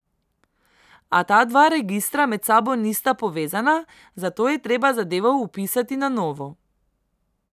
A ta dva registra med sabo nista povezana, zato je treba zadevo vpisati na novo.